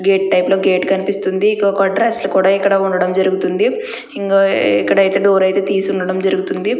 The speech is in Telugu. గేటు టైపులో గేటు కనిపిస్తుంది ఇదొక డ్రెస్సులు కూడా ఇక్కడ ఉండడం జరుగుతుంది ఇంగ ఇక్కడ అయితే డోర్ అయితే తీసుండడం జరుగుతుంది.